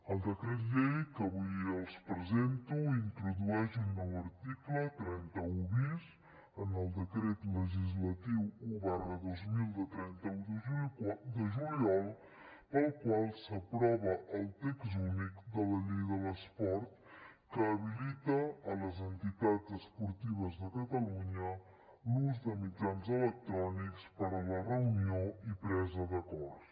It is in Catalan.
el decret llei que avui els presento introdueix un nou article trenta un bis en el decret legislatiu un dos mil de trenta un de juliol pel qual s’aprova el text únic de la llei de l’esport que habilita a les entitats esportives de catalunya l’ús de mitjans electrònics per a la reunió i presa d’acords